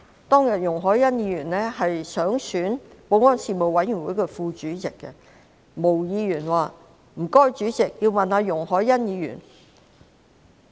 當天，容海恩議員想參選保安事務委員會的副主席，而毛議員說："請主席問容海恩議員......